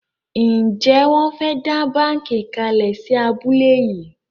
Njé Won fè dá bánkì kalè sí abúlé yí?